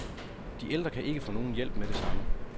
De ældre kan ikke få nogen hjælp med det samme.